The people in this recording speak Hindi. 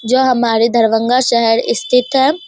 जो हमारे दरभंगा शहर स्तिथ है।